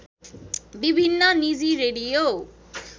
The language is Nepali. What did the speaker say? विभिन्न निजी रेडियो